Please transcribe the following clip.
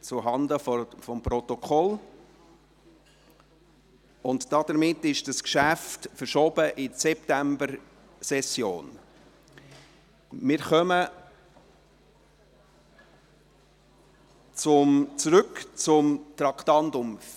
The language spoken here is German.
Auf der Anzeigetafel hätte dieses Geschäft als Traktandum 00 aufgeführt werden solle, nicht jedoch unter dem Traktandum 24. Entschuldigen Sie bitte.